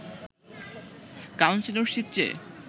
councillorship চেয়ে